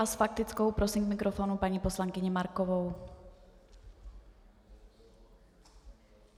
A s faktickou prosím k mikrofonu paní poslankyni Markovou.